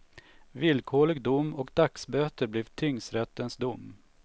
Villkorlig dom och dagsböter blev tingsrättens dom.